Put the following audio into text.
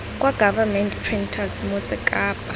kwa government printers motse kapa